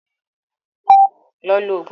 lọ lo oògùn ibá ẹ!